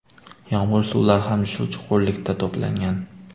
Yomg‘ir suvlari ham shu chuqurlikda to‘plangan.